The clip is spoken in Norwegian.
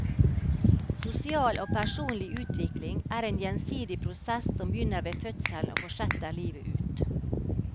Sosial og personlig utvikling er en gjensidig prosess som begynner ved fødselen og fortsetter livet ut.